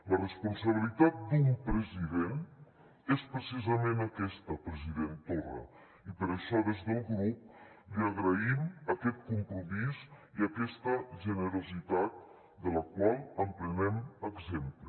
la responsabilitat d’un president és precisament aquesta president torra i per això des del grup li agraïm aquest compromís i aquesta generositat de la qual en prenem exemple